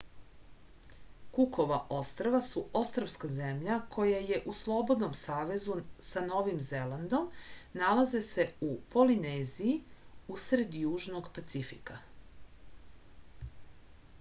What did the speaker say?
kukova ostrva su ostrvska zemlja koja je u slobodnom savezu sa novim zelandom nalaze se u polineziji u sred južnog pacifika